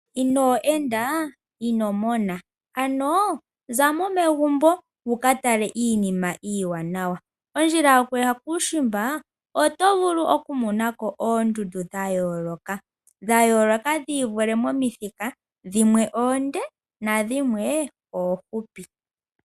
Inoo enda ino mona, ano zamo megumbo wuka tale iinima iiwanawa. Ondjila yokuya kuushimba oto vulu okumona ko oondundu dha yooloka. Dha yooloka dhi ivule momithika, dhimwe oonde nadhimwe oofupi.